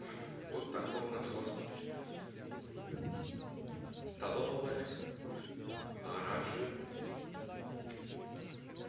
вот такой у нас госпиталь столовая гаражи